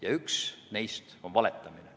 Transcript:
Ja üks neist on valetamine.